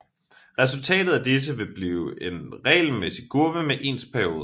Resultatet af disse vil blive en regelmæssig kurve med ens perioder